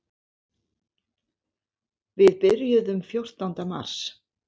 Við byrjuðum fjórtánda mars.